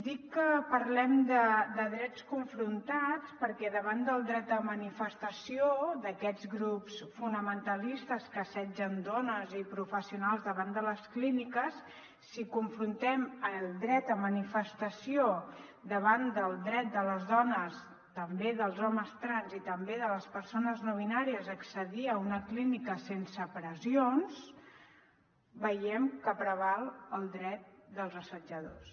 dic que parlem de drets confrontats perquè davant del dret de manifestació d’aquests grups fonamentalistes que assetgen dones i professionals davant de les clí·niques si confrontem el dret de manifestació davant del dret de les dones també dels homes trans i també de les persones no binàries a accedir a una clínica sense pressions veiem que preval el dret dels assetjadors